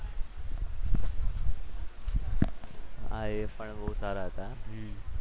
હા એ પણ બહુ સારા હતા.